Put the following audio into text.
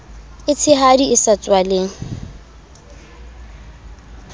e tshehadi e sa tswaleng